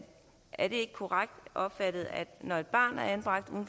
er det ikke korrekt opfattet at når et barn er anbragt uden